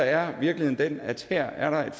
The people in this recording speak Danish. er virkeligheden den at her er der et